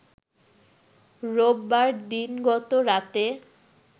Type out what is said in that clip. রোববার দিনগত রাতে